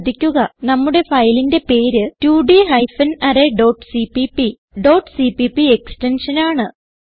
ശ്രദ്ധിക്കുക നമ്മുടെ ഫയലിന്റെ പേര് 2ഡ് hyphen array dot CPP dot CPP extension ആണ്